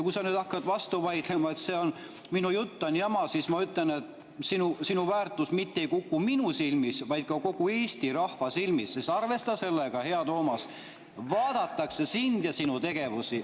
Kui sa nüüd hakkad vastu vaidlema, et minu jutt on jama, siis ma ütlen, et sinu väärtus mitte ei kuku ainult minu silmis, vaid ka kogu Eesti rahva silmis, sest arvesta sellega, hea Toomas, vaadatakse sind ja sinu tegevusi …